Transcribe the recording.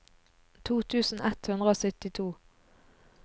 to tusen ett hundre og syttito